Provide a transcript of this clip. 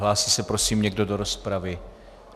Hlásí se, prosím, někdo do rozpravy?